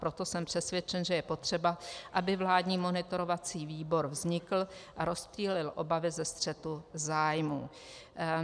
Proto jsem přesvědčen, že je potřeba, aby vládní monitorovací výbor vznikl a rozptýlil obavy ze střetu zájmů."